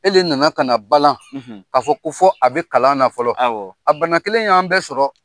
E le nana kana balan k'a fɔ ko fɔ a be kalan na fɔlɔ. Awɔ. A bana kelen y'an bɛɛ sɔrɔ.